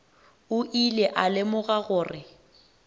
o ile a lemoga gore